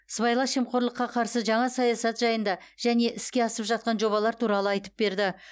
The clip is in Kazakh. сыбайлас жемқорлыққа қарсы жаңа саясат жайында және іске асып жатқан жобалар туралы айтып берді